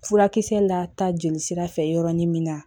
Furakisɛ lata jelisira fɛ yɔrɔnin min na